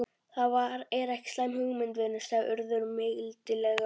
Það er ekki slæm hugmynd, vinur sagði Urður mildilega.